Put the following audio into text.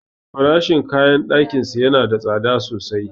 Farashin kayan ɗakinsu yana da tsada sosai.